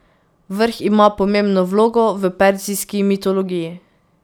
Vrh ima pomembno vlogo v perzijski mitologiji.